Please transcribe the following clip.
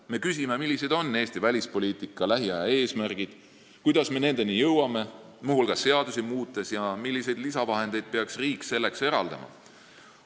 Me küsime, millised on Eesti välispoliitika lähiaja eesmärgid, kuidas me nendeni jõuame ja milliseid lisavahendeid peaks riik selleks eraldama.